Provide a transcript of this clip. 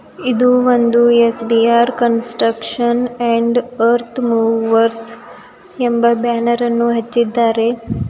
ಇದು ಒಂದು S_ B_ R construction and earth movers ಎಂಬ ಬ್ಯಾನರ್ ಅನ್ನು ಹೆಚ್ಚಿದ್ದಾರೆ.